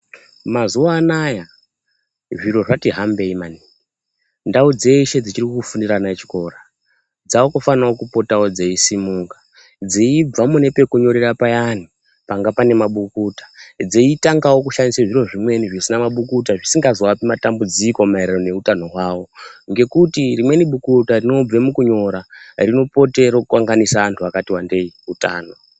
Mazuwa anaya zviro zvati hambei mani. Ndau dzeshe dzichiri kufundira ana echikora dzakufanawo kupotawo dzeisimuka. Dzeibva mune pekunyorera payani panga pane mabukuta, dzeitangawo kushandisa zviro zvimweni zvisina mabukuta zvisingazoapi matambudziko maererano neutano hwawo. Ngokuti rimweni bukuta rinobve mukunyora rinopote reikanganisa anthu akati wandei utano.